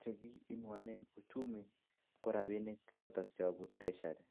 Che kinuanen uchumi ko rabinik choton Che yobu treasury